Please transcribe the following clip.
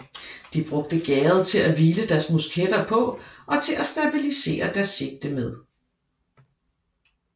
De brugte gærdet til at hvile deres musketter på og til at stabilisere deres sigte med